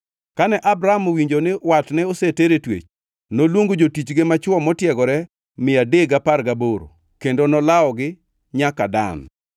Kane Abram owinjo ni watne oseter e twech, noluongo jotichge machwo motiegore mia adek gapar gaboro kendo olawogi nyaka Dan.